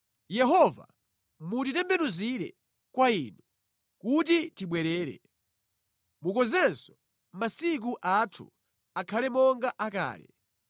Yehova mutitembenuzire kwa Inu, kuti tibwerere; mukonzenso masiku athu akhale monga akale,